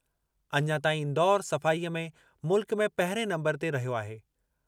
अञा ताईं इंदौर सफ़ाई में मुल्क में पहिरिएं नंबरु ते रहियो आहे।